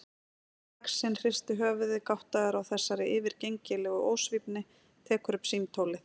Stórlaxinn hristir höfuðið, gáttaður á þessari yfirgengilegu ósvífni, tekur upp símtólið.